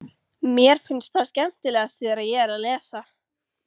Mér finnst það skemmtilegast þegar ég er að lesa.